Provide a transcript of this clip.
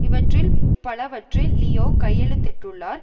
இவற்றில் பலவற்றில் லியோ கையெழுத்திட்டுள்ளார்